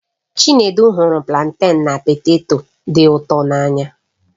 Chinedu hụrụ planten na poteto dị ụtọ n'anya.